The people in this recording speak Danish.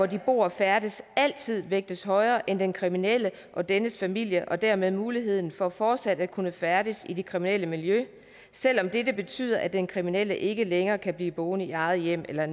de bor og færdes altid vægtes højere end den kriminelle og dennes familie og dermed deres mulighed for fortsat at kunne færdes i det kriminelle miljø selv om dette betyder at den kriminelle ikke længere kan blive boende i eget hjem eller